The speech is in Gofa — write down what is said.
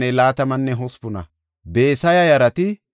Ramanne Gib7an de7iya asay 621;